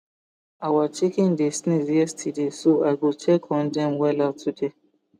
our chicken dey sneeze yesterday so i go check on dem wella today